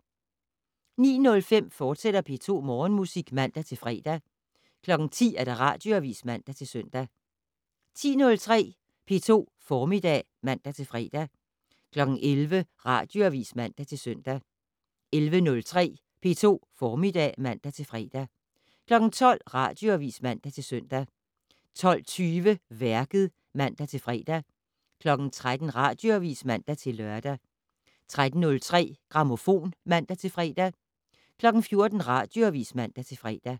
09:05: P2 Morgenmusik, fortsat (man-fre) 10:00: Radioavis (man-søn) 10:03: P2 Formiddag (man-fre) 11:00: Radioavis (man-søn) 11:03: P2 Formiddag (man-fre) 12:00: Radioavis (man-søn) 12:20: Værket (man-fre) 13:00: Radioavis (man-lør) 13:03: Grammofon (man-fre) 14:00: Radioavis (man-fre)